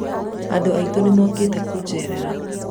andũ aitũ nĩmokĩte kũjerera